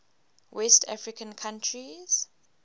west african countries